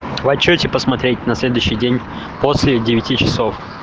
в отчёте посмотреть на следующий день после девяти часов